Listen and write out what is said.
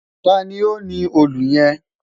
Tani o ni òòlù yẹn?